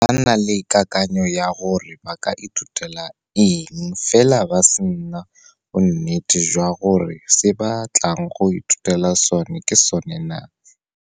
Ba na le kakanyo ya gore ba ka ithutela eng fela ba se na bonnete jwa gore se ba batlang go ithutela sone ke sone naa.